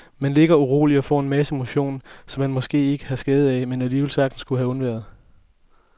Man ligger uroligt og får en masse motion, som man måske ikke har skade af, men alligevel sagtens kunne have undværet.